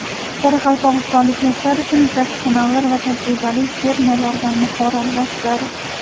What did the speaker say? Qoraqalpog‘istonlik yoshlar uchun professionallar va tajribali fermerlardan mahorat darslari.